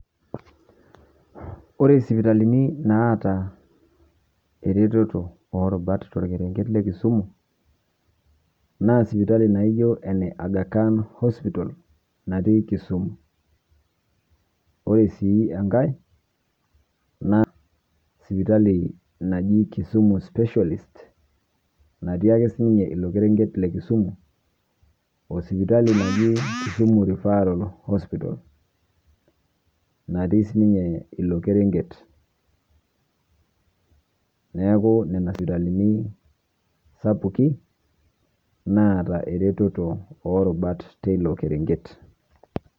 Or sipitalini naata ereteto o rubat torkerenket le Kisumu naa sipitali naijo ene Aga khan hospital natii Kisumu. Ore sii enkae naa sipitali naji Kisumu specialist natii ake siinye ilo kereng'et le Kisumu, o sipitali naji Kisumu refferal hospital nati sininye ilo kereng'et. Neeku nena sipitalini sapukin naata ereteto oo rubat te ilo kereng'et.